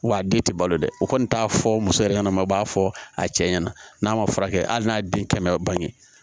Wa a den tɛ balo dɛ o kɔni t'a fɔ muso yɛrɛ ɲɛnɛma b'a fɔ a cɛ ɲɛna n'a ma furakɛ hali n'a den kɛmɛ bange